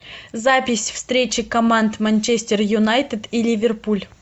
запись встречи команд манчестер юнайтед и ливерпуль